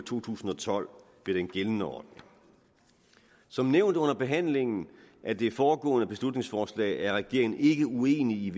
to tusind og tolv med den gældende ordning som nævnt under behandlingen af det foregående beslutningsforslag er regeringen ikke uenig